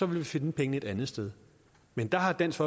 vi finde pengene et andet sted men der har dansk